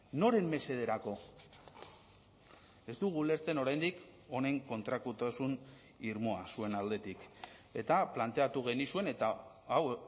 noren mesederako ez dugu ulertzen oraindik honen kontrakotasun irmoa zuen aldetik eta planteatu genizuen eta hau